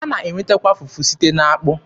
A na-enwetakwa fufu site n'akpụ.